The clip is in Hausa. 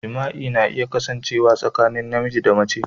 Jima'i na iya kasancewa tsakanin namiji da mace.